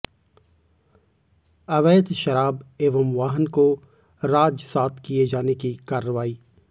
अवैध शराब एवं वाहन को राजसात किए जाने की कार्रवाई